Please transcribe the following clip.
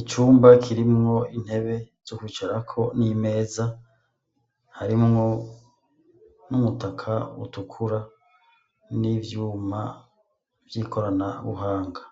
Icumba kirimwo intebe zo kwicarako n'imeza, harimwo n'umutaka utukura n'ivyuma vyikorana buhanga.